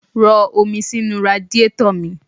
Rọ omi sínú radíetọ̀ lọ́la.